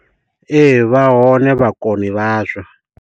Ee vha hone vhakoni vha zwo.